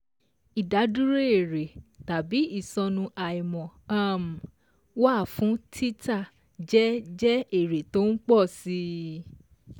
Ìdádúró èrè /ìsọnù àìmọ̀ um -wà fún títà jẹ́ jẹ́ èrè tó ń pọ̀ si